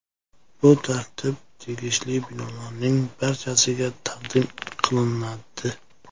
Bu tartib tegishli binolarning barchasiga taqdim qilinadi.